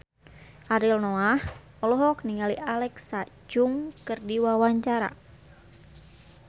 Ariel Noah olohok ningali Alexa Chung keur diwawancara